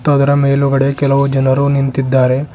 ಅದರ ಮೇಲುಗಡೆ ಕೆಲವು ಜನರು ನಿಂತಿದ್ದಾರೆ.